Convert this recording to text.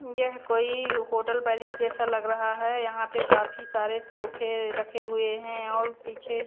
यह कोई hotel palace जैसा लग रहा है यहां पे काफी सारे सोफे रखे हुए हैं और पीछे--